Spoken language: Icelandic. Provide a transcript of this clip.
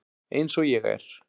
Eins og ég er.